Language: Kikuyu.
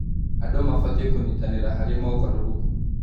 Andũ mabatiĩ kũnyitanĩra harĩ mogarũrũku.